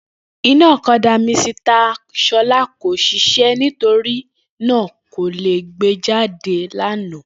Iná ọ̀kadà Misita Ṣọlá ko ṣiṣẹ nítorínà kò lè gbé jáde lálẹ́ àná